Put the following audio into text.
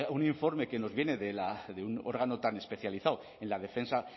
un informe que nos viene de un órgano tan especializado en la defensa